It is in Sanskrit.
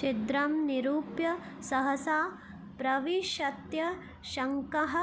छिद्रं निरूप्य सहसा प्रविशत्यशङ्कः